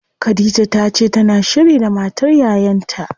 Khadija tace tana shiri da matar yayan ta.